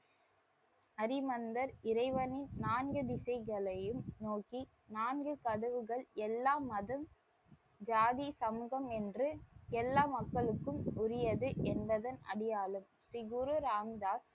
ஹரிமந்திர் இறைவனை நான்கு திசைகளையும் நோக்கி நான்கு கதவுகள் எல்லா மதம் ஜாதி சமூகம் என்று எல்லா மக்களுக்கும் உரியது என்பதன் அடையாளம். ஸ்ரீ குரு ராம்தாஸ்,